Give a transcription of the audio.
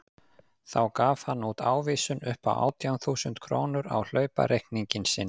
Þá gaf hann út ávísun upp á átján þúsund krónur á hlaupareikning sinn.